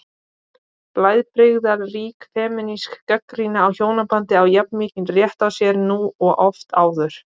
Blæbrigðarík femínísk gagnrýni á hjónabandið á jafn mikinn rétt á sér nú og oft áður.